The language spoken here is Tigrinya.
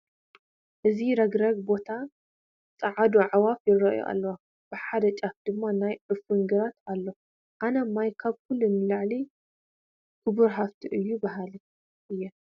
እዚ ረግረግ ቦታ ፃዕዱ ኣዕዋፍ ይርአያሉ ኣለዋ፡፡ ብሓደ ጫፍ ድማ ናይ ዕፉን ግራት ኣሎ፡፡ ኣነ ማይ ካብ ኩሉ ንላዕሊ ክቡር ሃፍቲ እዩ በሃሊ እየ፡፡